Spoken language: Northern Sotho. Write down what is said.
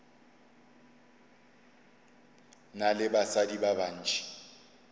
na le basadi ba bantši